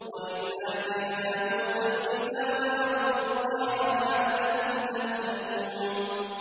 وَإِذْ آتَيْنَا مُوسَى الْكِتَابَ وَالْفُرْقَانَ لَعَلَّكُمْ تَهْتَدُونَ